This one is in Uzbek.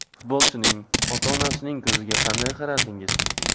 Futbolchining ota-onasining ko‘ziga qanday qarardingiz?